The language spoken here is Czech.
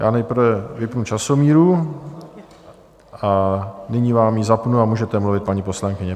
Já nejprve vypnu časomíru a nyní vám ji zapnu a můžete mluvit, paní poslankyně.